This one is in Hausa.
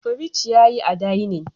Fridge yayi a dinning